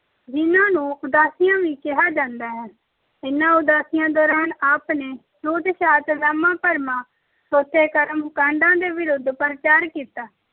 ਜਿੰਨਾਂ ਨੂੰ ਉਦਾਸੀਆਂ ਵੀ ਕਿਹਾ ਜਾਂਦਾ ਹੈ। ਇਨ੍ਹਾਂ ਉਦਾਸੀਆਂ ਦੌਰਾਨ ਆਪ ਨੇ ਛੂਤ-ਛਾਤ, ਵਹਿਮਾਂ-ਭਰਮਾਂ, ਥੋਥੇ ਕਰਮ-ਕਾਡਾਂ ਦੇ ਵਿਰੁੱਧ ਪ੍ਰਚਾਰ ਕੀਤਾ।